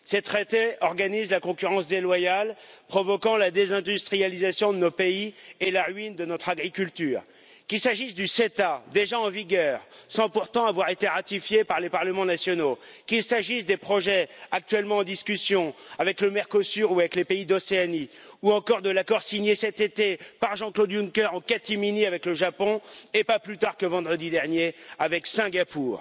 Ces traités organisent la concurrence déloyale, provoquant la désindustrialisation de nos pays et la ruine de notre agriculture, qu'il s'agisse du CETA, déjà en vigueur sans pourtant avoir été ratifié par les parlements nationaux, des projets actuellement en discussion avec le Mercosur ou avec les pays d'Océanie, ou encore de l'accord signé cet été par Jean Claude Juncker en catimini avec le Japon et, pas plus tard que vendredi dernier, avec Singapour.